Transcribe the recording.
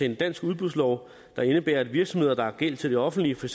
en dansk udbudslov der indebærer at virksomheder der har gæld til det offentlige for